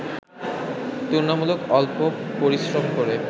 তুলনামূলক অল্প পরিশ্রম করে